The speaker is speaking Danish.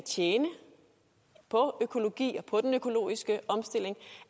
at tjene på økologi og den økologiske omstilling